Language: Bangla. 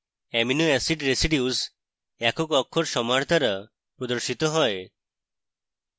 amino acid residues একক অক্ষর সমাহার দ্বারা প্রদর্শিত হয়